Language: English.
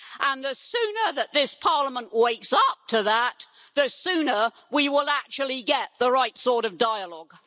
And the sooner that this Parliament wakes up to that, the sooner we will actually get the right sort of dialogue.